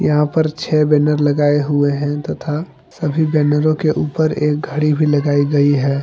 यहां पर छे बैनर लगाए हुए है तथा सभी बैनरों के ऊपर एक घड़ी भी लगाई गई हैं।